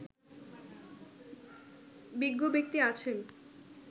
বিজ্ঞ ব্যক্তি আছেন